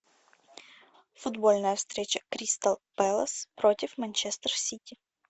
футбольная встреча кристал пэлас против манчестер сити